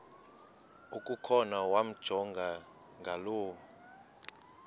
okukhona wamjongay ngaloo